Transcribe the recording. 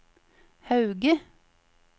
Hauge